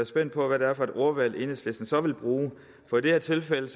spændt på hvad det var for et ordvalg enhedslisten så ville bruge for i det her tilfælde